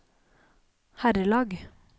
herrelag